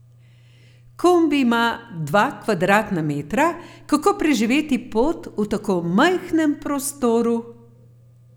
Kombi ima dva kvadratna metra, kako preživeti pot v tako majhnem prostoru?